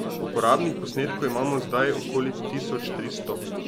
Uporabnih posnetkov imam zdaj okoli tisoč tristo.